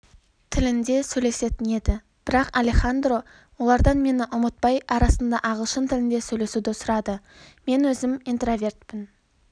тілінде сөйлесетін еді бірақалехандро олардан мені ұмытпай арасында ағылшын тілінде сөйлесуді сұрады мен өзім интровертпін